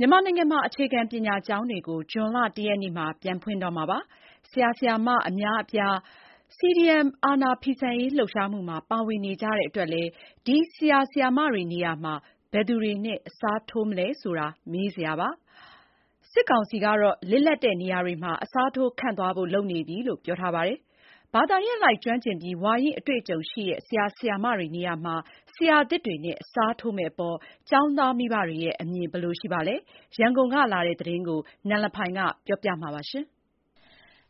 မြန်မာနိုင်ငံမှာ အခြေခံပညာကျောင်းတွေကို ဇွန်လ ၁ ရက်နေ့မှာ ပြန်ဖွင့်တော့မှာဖြစ်ပါတယ်။ ဆရာ ၊ဆရာမအများအပြား အကြမ်းမဖက် CDM လှုပ်ရှားမှုမှာ ပါဝင်နေကြတဲ့အတွက် ဒီဆရာတွေနေရာမှာ ဘယ်သူတွေနဲ့ အစားထိုးမလဲဆိုတာ မေးစရာဖြစ်နေပါတယ်။ အာဏာသိမ်း အုပ်ချုပ်နေတဲ့ န.စ.က စစ်ကောင်စီကတော့ လစ်လပ်နေရာတွေမှာ အစားထိုးခန့်သွားဖို့ လုပ်နေပြီလို့ပြောပါတယ်။ ဘာသာရပ်အလိုက် ကျွမ်းကျင်ပြီး ဝါရင့်အတေ့ွအကြုံရှိတဲ့ ဆရာ ဆရာမတွေနေရာမှာ ဆရာသစ်တွေနဲ့ အစားထိုးမယ့်အပေါ် ကျောင်းသားမိဘတွေရဲ့ အမြင် ဘယ်လိုရှိပါသလဲ ရန်ကုန်ကလာတဲ့သတင်းကို နန်လဖိုင်က တင်ပြပါမယ်။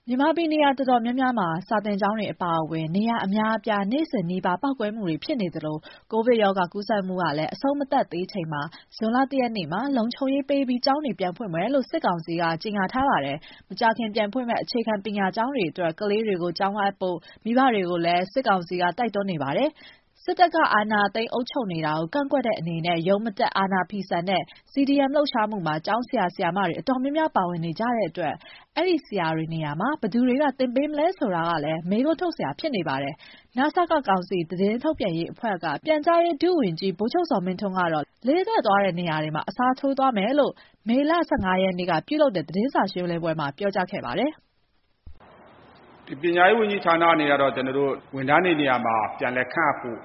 မြန်မာပြည်နေရာတော်တော်များများမှာ စာသင်ကျောင်းတွေ အပါအဝင် နေရာအများအပြား နေ့စဉ်နီးပါး ပေါက်ကွဲမှုတွေဖြစ်နေသလို ကိုဗစ်ကပ်ရောဂါကူးစက်မှုကလည်း အဆုံး မသတ်သေးချိန်မှာ ဇွန်လ ၁ ရက်မှာ လုံခြုံရေးပေးပြီး ကျောင်းတွေ ပြန်ဖွင့်မယ်လို့ စစ်ကောင်စီက ကြေညာထားပါတယ်။ မကြာခင်ပြန်ဖွင့်မယ့် အခြေခံပညာကျောင်းတွေအတွက် ကလေးတွေကို ကျောင်းအပ်ကြဖို့ မိဘတွေကိုလည်း စစ်ကောင်စီက တိုက်တွန်းနေပါတယ်။ စစ်တပ်က အာဏာသိမ်းအုပ်ချုပ်နေတာကို ကန့်ကွက်တဲ့အနေနဲ့ ရုံးမတက်အာဏာဖီဆန်တဲ့ CDM လှုပ်ရှားမှုမှာ ကျောင်းဆရာ၊ ဆရာမတော်တော်များများ ပါဝင်နေကြတဲ့အတွက် အဲဒီဆရာတွေနေရာမှာ ဘယ်သူတွေက သင်ပေးမှာလဲဆိုတာကလည်း မေးခွန်းထုတ်စရာဖြစ်နေပါတယ်။ နစက ကောင်စီ သတင်းထုတ်ပြန်ရေးအဖွဲ့က ပြန်ကြားရေးဒုဝန်ကြီး ဗိုလ်ချုပ်ဇော်မင်းထွန်းကတော့ လစ်လပ်သွားတဲ့ နေရာတွေမှာ အစားထိုးသွားမယ်လို့ မေလ ၁၅ ရက်နေ့ကလုပ်တဲ့ သတင်းစာရှင်းပွဲမှာ ပြောကြားခဲ့ပါတယ်။ "ဒီပညာရေးဝန်ကြီးဌာနဘက်ကတော့ ပျက်ကွက်သူတွေကို အစားထိုးခန့်ဖို့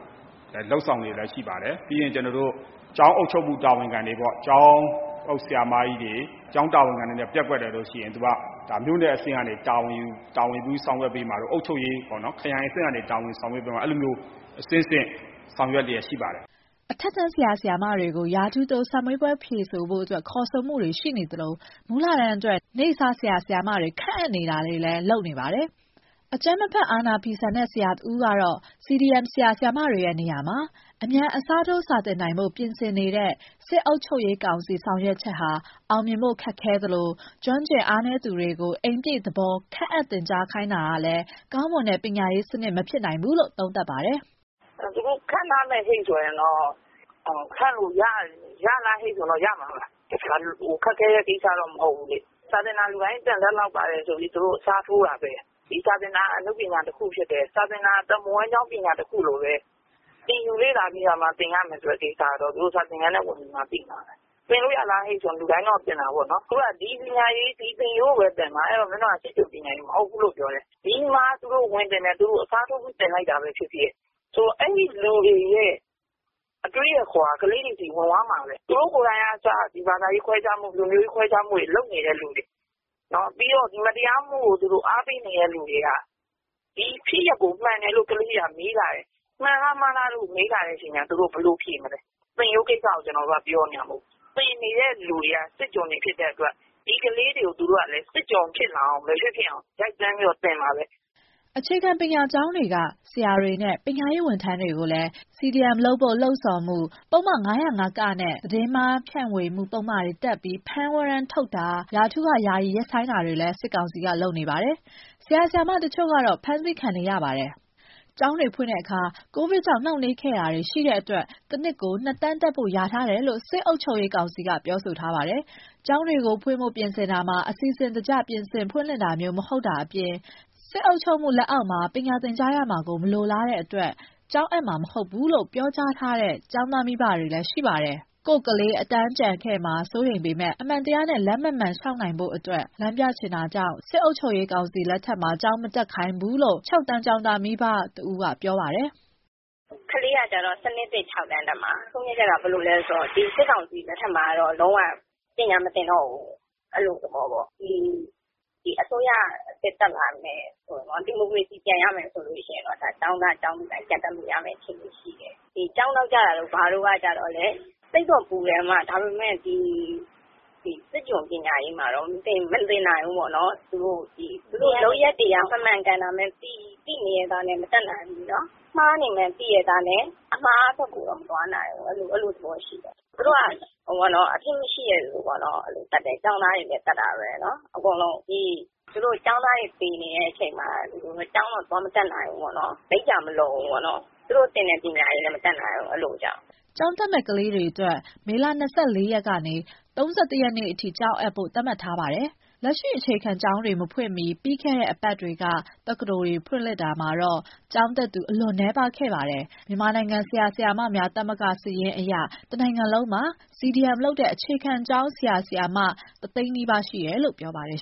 လုပ်နေတာရှိပါတယ်။ နောက်ပြီးတော့ ကျောင်းအုပ်တွေ ကျောင်းတာဝန်ခံတွေ နေရာပျက်ကွက်တယ်ဆိုရင် မြို့နယ်အဆင့် အုပ်ချုပ်ရေးခရိုင်အဆင့်ပညာရေး တွေကအဆင့်ဆင့်တာဝန်ယူဆောင်ရွက်သွားဖို့ရှိပါတယ်။" အထက်တန်းဆရာ ဆရာမတွေကို ရာထူးတိုးစာမေးပွဲဖြေဆိုဖို့ ခေါ်ဆိုမှုတွေရှိသလို မူလတန်းအတွက် နေ့စားဆရာ ဆရာမတွေ ခန့်အပ်နေတာတွေလည်း လုပ်နေပါတယ်။ အကြမ်းမဖက် အာဏာဖီဆန်တဲ့ ဆရာတဦးကတော့ CDM ဆရာ၊ ဆရာမတွေ ရဲ့နေရာမှာ အမြန် အစားထိုးစာသင်နိုင်ဖို့ပြင်ဆင်နေတဲ့ စစ်အုပ်ချုပ်ရေးကောင်စီ ဆောင်ရွက်ချက်ဟာ အောင်မြင်ဖို့ ခက်ခဲသလို ကျွမ်းကျင်မှု အားနည်းသူတွေကို အိမ်ပြည့်သဘောခန့်အပ်သင်ကြားခိုင်းတာက ကောင်းမွန်တဲ့ ပညာရေးစနစ်မဖြစ်နိုင်ဘူးလို့ သုံးသပ်ပါတယ်။ "သူတို့ခန့်ထားမယ်ဆိုရင်တော့ ခန့်လို့ရမှာပါ။ ခက်ခဲတဲ့ကိစ္စတော့မဟုတ်ဘူးလေ။ စာသင်တာလူတိုင်းသင်တယ် ဆိုပြီးအစားထိုးတာဘဲ။ စာသင်တာ အနုပညာတခုဖြစ်တယ်။ စာသင်တာ အသက်မွေးဝမ်းကျောင်းပညာတခုလိုဘဲ။ သင်ယူလေ့လာပြီးမှသင်ရမယ်ဆိုတာကို သူတို့ စာသင်ခန်းထဲဝင်မှသိမှာဘဲ။ သင်လို့ရလားဆိုလူတိုင်းတော့သင်မှာပေါ့နော်။ ဒီသင်ရိုးဘဲသင်မှာ စစ်ကျွန် ပညာရေးမဟုတ်ဘူးပြောတယ်။ ဒီမှာ သူတို့အစားထိုးသင်တာဖြစ်ဖြစ် အဲလူတွေရဲ့ အတွေးအခေါ်က ကလေးတွေဆီဝင်မှာဘဲ။သူတို့ကိုယ်တိုင် ဘာသာရေးခွဲညခားတာ ၊လူမျိုးရေးခွဲခြားတာလုပ်သူတွေ၊ မတရားမှုကို အားပေးသူတွေက ဒီဖြစ်ရပ်ကိုမှန်တယ်မှားတယ်မေးလာရင်သူတို့ဘယ်လိုဖြေမလဲ။ သင်ရိုးကိုပြောနေတာမဟုတ်ဘူး သင်နေသူတွေက စစ်ကျွန်တွေဖြစ်လို့ ဒီကလေးတွေကို စစ်ကျွန် မဖြစ်ဖြစ်အောင် သင်မှာဘဲ" အခြေခံပညာကျောင်းတွေက ဆရာတွေနဲ့ပညာရေးဝန်ထမ်းတွေကိုလည်း CDM လုပ်ဖို့လှုံ့ဆော်မှု၊ ပုဒ်မ ၅၀၅-က နဲ့သတင်းမှားဖြန့်မှု ပုဒ်မတွေတပ်ပြီး ဖမ်းဝရမ်းထုတ်တာ၊ ရာထူးကယာယီ ရပ်ဆိုင်းတာတွေလည်း စစ်ကောင်စီက လုပ်နေပါတယ်။ ဆရာ ဆရာမ တချို့ကတော့ ဖမ်းဆီးခံထားရပါတယ်။ ကျောင်းတွေဖွင့်တဲ့အခါ ကိုဗစ်ကြောင့် နှောင့်နှေးခဲ့တာတွေ ရှိတဲ့အတွက် တစ်နှစ်ကို နှစ်တန်းတက်ဖို့လျာထားတယ်လို့ စစ်အုပ်ချုပ်ရေးကောင်စီကပြောဆိုထားပါတယ်။ ကျောင်းတွေဖွင့်ဖို့ပြင်ဆင်တာမှာ အစီစဉ်တကျ ပြင်ဆင်ဖွင့်လှစ်ခြင်းမျိုး မဟုတ်တာအပြင် စစ်အုပ်ချုပ်မှု လက်အောက်မှာ ပညာသင်ကြားရမှာကို မလိုလားတဲ့အတွက် မကျောင်းအပ်မှာ မဟုတ်ဘူးလို့ ပြောကြားထားတဲ့ ကျောင်းသားမိဘတွေလည်း ရှိနေပါတယ်။ ကိုယ့်ကလေး အတန်းကျန်ခဲ့မှာ စိုးရိမ်ပေမဲ့ အမှန်တရားနဲ့လမ်းမှန်မှန် လျှောက်တတ် နိုင်ဖို့လမ်းပြချင်တာကြောင့် စစ်အုပ်ချုပ်ရေးကောင်စီ လက်ထက်မှာ ကျောင်းမတက်ခိုင်းဘူးလို့ ၆ တန်းကျောင်းသားမိဘ တဦးကပြောပါတယ်။ "ကလေးက စနစ်သစ် ၆တန်းတက်မှာ။ ညီမတို့ဆုံးဖြတ်ချက်က စစ်ကောင်စီလက်ထက်မှာ လုံးဝပညာမသင်တော့ဘူး။ အဲလိုသဘောပေါ့ ဒီအစိုးရသစ်တက်လာမယ် ဒီမိုကရေစီရမယ်ဆိုရင်တော့ ကျောင်းသား ကျောင်းသူတိုင်းကျောင်းပြန်တက် လို့ရမယ့် အခြေအနေရှိတယ်။ ကျောင်းနောက်ကျတာ ဘာတို့ကလည်းစိတ်တော့ပူတာပေါ့။ ဒါပေမယ့် စစ်ကျွန်ပညာရေးကို မသင်နိုင်ဘူးပေါ့။ လုပ်ရပ်တွေကမမှန်တော့မတက်နိုင်ဘူးပေါ့။ မှားနေတာသိရဲ့နဲ့ အမှားဘက်မသွားနိုင်ဘူးအဲလိုသဘောရှိတယ်။ သူတို့ကအပြစ်မရှိတဲ့သူတွေကိုလည်းသတ်တယ်။ ကျောင်းသားတွေကိုလည်းသတ်တယ်။ ကျောင်းသားတွေသေနေချိန်မှာ ကျောင်းမတက်နိုင်ဘူး။ လိပ်ပြာလည်းမလုံဘူး အဲလိုကြောင့်ပါ" ကျောင်းတက်မယ့် ကလေးတွေအတွက် မေလ ၂၄ ရက်နေ ၃၁ ရက်အထိ ကျောင်းအပ်ဖို့ သတ်မှတ်ထားပါတယ်။ လက်ရှိအခြေခံပညာကျောင်းတွေ မဖွင့်ခင် ပြီးခဲ့တဲ့ သီတင်းပတ်တွေက တက္ကသိုလ်တွေ ဖွင့်လှစ်ခဲ့ရာမှာတော့ ကျောင်းတက်သူ အလွန်နည်းပါးခဲ့ပါတယ်။ မြန်မာနိုင်ငံ ဆရာဆရာမများ သမဂ္ဂစာရင်းအရ တနိုင်ငံလုံးမှာ CDM လုပ်တဲ့အခြေခံ ပညာ ကျောင်းဆရာ၊ ဆရာမ ၁သ ိန်းနီးပါး ရှိတယ်လို့ ပြောပါတယ်